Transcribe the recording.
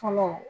Fɔlɔ